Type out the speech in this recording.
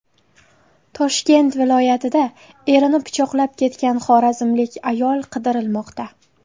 Toshkent viloyatida erini pichoqlab ketgan xorazmlik ayol qidirilmoqda.